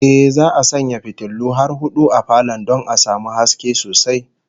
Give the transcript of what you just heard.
Ehh, za'a sanya fitulu har hudu a falon don a samu haske sosai